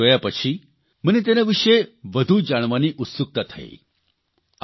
આ વિડિયોને જોયા પછી મને તેના વિષે વધુ જાણવાની ઉત્સુકતા થઇ